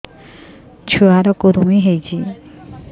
ଛୁଆ ର କୁରୁମି ହୋଇଛି